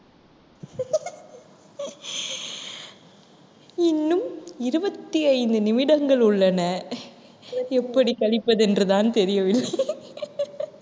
இன்னும் இருபத்தி ஐந்து நிமிடங்கள் உள்ளன எப்படி கழிப்பது என்றுதான் தெரியவில்லை